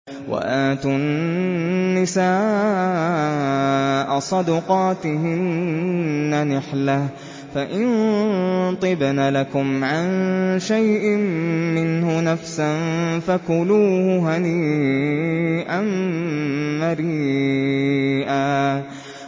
وَآتُوا النِّسَاءَ صَدُقَاتِهِنَّ نِحْلَةً ۚ فَإِن طِبْنَ لَكُمْ عَن شَيْءٍ مِّنْهُ نَفْسًا فَكُلُوهُ هَنِيئًا مَّرِيئًا